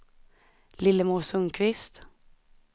Lillemor Sundqvist